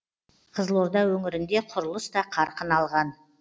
қызылорда өңірінде құрылыс та қарқын алған